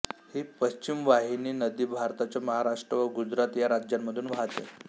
ही पश्चिमवाहिनी नदी भारताच्या महाराष्ट्र व गुजरात या राज्यांमधून वाहते